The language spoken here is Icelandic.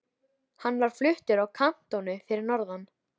Það fer henni vel að umla.